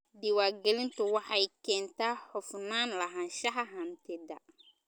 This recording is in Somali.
Diiwaangelintu waxay keentaa hufnaan lahaanshaha hantida.